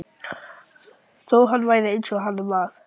Þó hann væri eins og hann var.